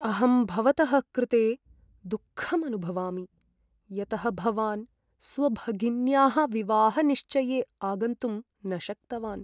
अहं भवतः कृते दुःखम् अनुभवामि यतः भवान् स्वभगिन्याः विवाहनिश्चये आगन्तुं न शक्तवान्।